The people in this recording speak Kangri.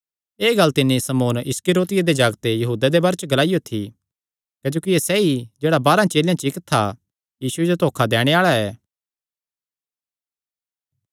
एह़ गल्ल तिन्नी शमौन इस्करियोती दे जागते यहूदा दे बारे च ग्लाईयो थी क्जोकि एह़ सैई जेह्ड़ा बारांह चेलेयां च इक्क था यीशुये जो धोखा दैणे आल़ा ऐ